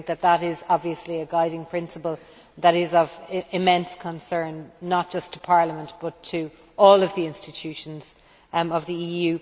That is obviously a guiding principle that is of immense concern, not just to Parliament but to all of the institutions of the EU.